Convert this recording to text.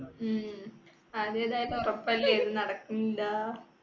ഉം അതേതായാലും ഉറപ്പല്ലേ നടക്കൂല